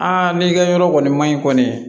n'i ka yɔrɔ kɔni ma ɲi kɔni